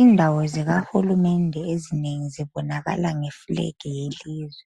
Indawo zika hulumende ezinengi zibonakala nge flag yelizwe